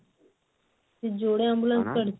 ଯୋଡେ ambulance କାଢିଛି